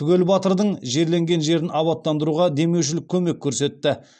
түгел батырдың жерленген жерін абаттандыруға демеушілік көмек көрсетті